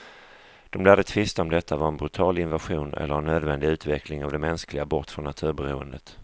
De lärde tvista om detta var en brutal invasion eller en nödvändig utveckling av det mänskliga, bort från naturberoendet.